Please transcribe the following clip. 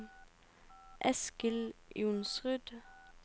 Eskil Johnsrud